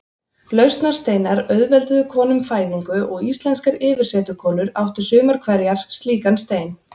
Lausnarsteinar auðvelduðu konum fæðingu og íslenskar yfirsetukonur áttu sumar hverjar slíkan stein.